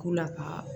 K'u la ka